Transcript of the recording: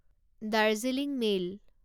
Darjeeling mail